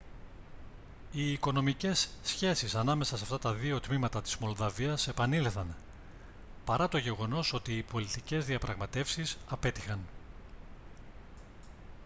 οι οικονομικές σχέσεις ανάμεσα σε αυτά τα δύο τμήματα της μολδαβίας επανήλθαν παρά το γεγονός ότι οι πολιτικές διαπραγματεύσεις απέτυχαν